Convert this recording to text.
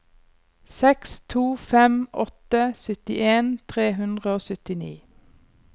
seks to fem åtte syttien tre hundre og syttini